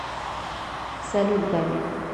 салют габи